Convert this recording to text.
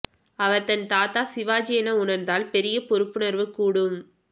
அவர் தன் தாத்தா சிவாஜி என உணர்ந்தால் பெரிய பொறுப்புணர்வு கூடும்